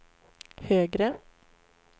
högre